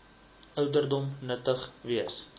ouderdom nuttig wees